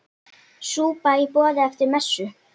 Súpa í boði eftir messu.